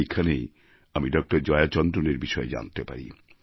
এইখানেই আমি ডক্টর জয়া চন্দ্রনের বিষয়ে জানতে পারি